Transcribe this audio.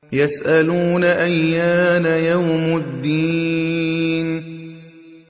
يَسْأَلُونَ أَيَّانَ يَوْمُ الدِّينِ